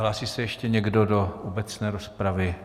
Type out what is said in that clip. Hlásí se ještě někdo do obecné rozpravy?